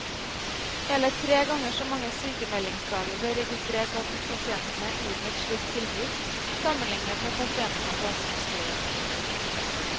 Hele tre ganger så mange sykemeldingsdager ble registrert blant pasientene uten et slikt tilbud, sammenlignet med pasientene på astmaskolen.